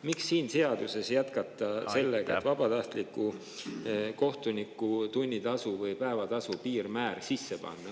Miks selles seaduses jätkata sellega, et vabatahtliku kohtuniku päevatasu piirmäär on selles sees?